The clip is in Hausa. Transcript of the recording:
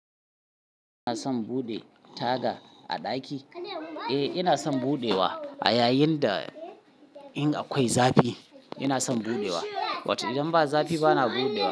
Kina son buɗe taga a ɗaki? Eh ina son buɗewa a yayin da in akwai zafi ina son buɗewa, watan idan ba zafi ba na buɗewa.